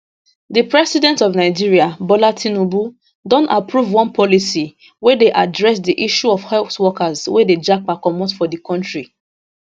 di president of nigeria bola tinubu don approve one policy wey dey address di issue of health workers wey dey japa comot for di kontri